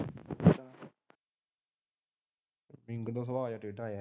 ਦਾ ਸੁਭਾਵ ਟੇਢਾ ਯਾਰ ।